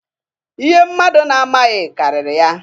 Ihe mmadụ na-amaghị karịrị ya.